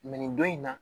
nin don in na